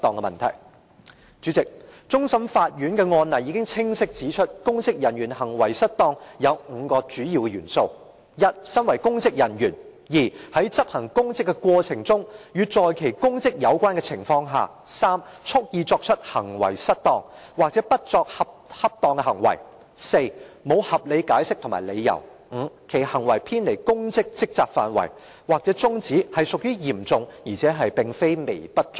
代理主席，終審法院的案例清晰指出，公職人員行為失當有5個主要元素：一，身為公職人員；二，在執行公職的過程中或在與其公職有關的情況下；三，蓄意作出失當行為，或不作出恰當行為；四，沒有合理解釋或理由；五，其行為偏離公職職責範圍或宗旨屬於嚴重而非微不足道。